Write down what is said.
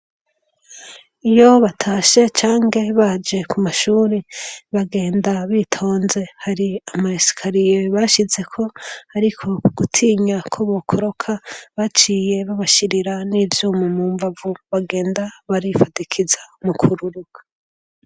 Iyo batashe canke baje ku mashure, bagenda bitonze. Hari ama esikariye bashizeko ariko ugutinya ko bokoroka baciye babashirira n'ivyuma mu mbavu bagenda barifatikiza mu kururuka.